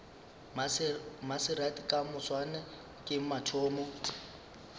maserati ka moswane ke mathomo